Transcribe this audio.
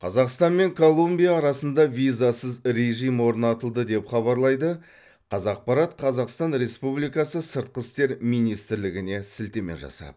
қазақстан мен колумбия арасында визасыз режім орнатылды деп хабарлайды қазақпарат қазақстан республикасы сыртқы істер министрлігіне сілтеме жасап